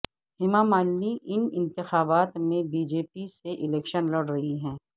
ہیما مالنی ان انتخابات میں بی جے پی سے الیکشن لڑ رہی ہیں